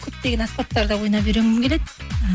көптеген аспаптарда ойнап үйренгім келеді і